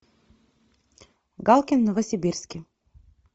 галкин в новосибирске